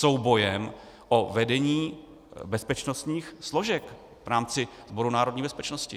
Soubojem o vedení bezpečnostních složek v rámci Sboru národní bezpečnosti.